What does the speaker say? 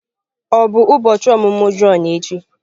Ọ bụ ụbọchị ọmụmụ Jọn echi?